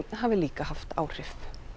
hafi líka haft áhrif